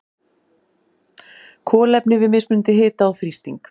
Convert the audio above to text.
Kolefni við mismunandi hita og þrýsting.